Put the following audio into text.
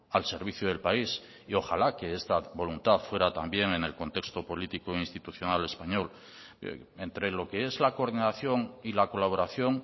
al servicio del país y ojala que esta voluntad fuera también en el contexto político institucional español entre lo que es la coordinación y la colaboración